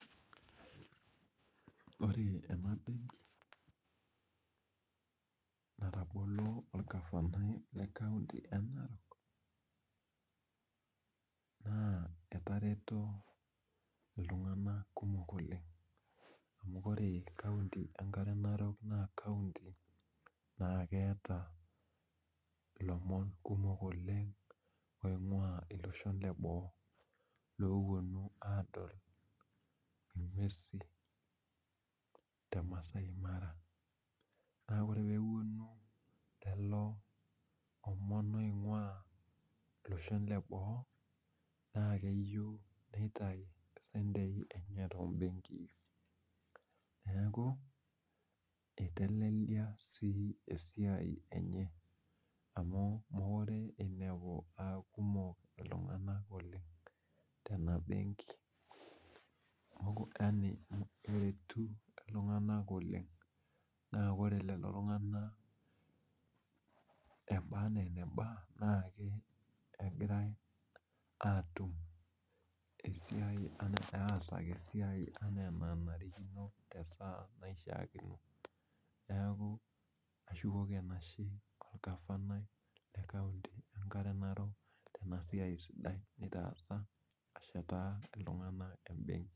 Ore enabenki natobolo orgavanai lekaunti enarok na etareto ltunganak le narok oleng amu ore kaunti enkare narok na kaunti na keeta lomon kumok oleg oingua loshon leboo loponu aingor ngwesu te masai mara ore peponu kulo omon oingua kwapi eboo na keyieu nitau mpisai tembenki neaku itelelia si esiai enye amu mekure inepu aakumok ltunganak oleng tenabennki eretu ltunganak eba eneba na ore kulo tunganak atum eisia anaa enenarikino tesaa naishaakino neaku kashukoki enashe orgavani lenkare narok tenasia nataasa ashetaa ltunganak tembenki.